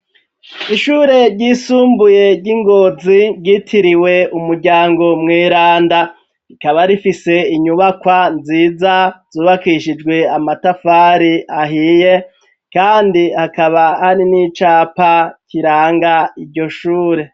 ishure ryisumbuye ry'Ingonzi ryitiriwe umuryango mweranda, rikaba rifise inyubakwa nziza zubakishijwe amatafari ahiye kandi hakaba hari n'icapa kiranga iryo shure.